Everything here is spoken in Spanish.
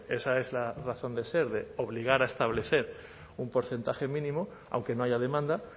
esa es la razón de ser de obligar a establecer un porcentaje mínimo aunque no haya demanda